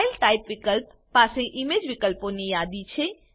file type વિકલ્પ પાસે image વિકલ્પો ની યાદી છે